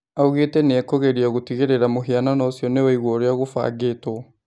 Augĩ te nĩ ekũgeria gũtigĩ rĩ ra mũhianano ũcio nĩ waigwo ũrĩ a gũbangĩ two